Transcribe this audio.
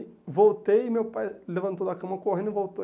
E voltei e meu pai levantou da cama, correndo e voltou.